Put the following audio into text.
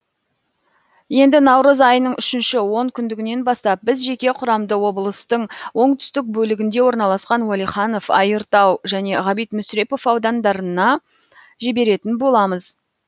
енді наурыз айының үшінші он күндігінен бастап біз жеке құрамды облыстың оңтүстік бөлігінде орналасқан уәлиханов айыртау және ғабит мүсірепов аудандарына жіберетін боламыз